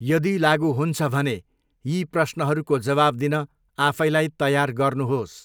यदि लागु हुन्छ भने यी प्रश्नहरूको जवाब दिन आफैलाई तयार गर्नुहोस्।